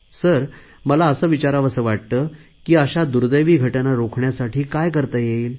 sir मला असे विचारावेसे वाटते की अशा दुर्देवी घटना रोखण्यासाठी काय करता येईल